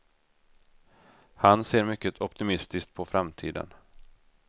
Han ser mycket optimistiskt på framtiden.